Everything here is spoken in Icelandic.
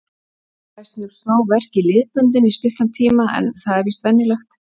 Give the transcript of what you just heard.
Fæ stundum smá verk í liðböndin í stuttan tíma en það er víst venjulegt.